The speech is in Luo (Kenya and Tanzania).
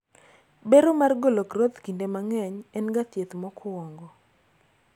bero mar golo groth kinde mang'eny en ga thieth mokwongo